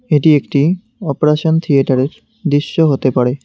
এটি একটি অপারেশন থিয়েটারের দৃশ্য হতে পারে।